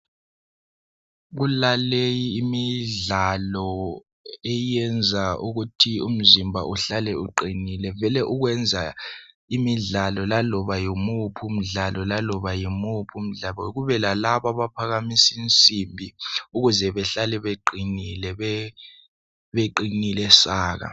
kulaleyi imidlalo eyenza ukuthi umzimba uhlale uqinile vele ukwenza imdlalo laloba yimuphi umdlalo laloba yimuphi umdlalo kube lalabo abaphakamisa insimbi ukuze behlale beqinile beqinile saka